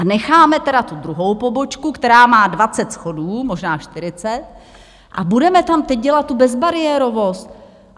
A necháme tedy tu druhou pobočku, která má 20 schodů, možná 40, a budeme tam teď dělat tu bezbariérovost.